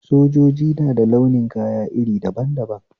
Sojoji nada launin kaya iri daban daban